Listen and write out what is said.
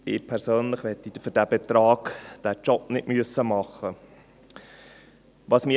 Ich persönlich möchte für diesen Betrag den Job nicht machen müssen.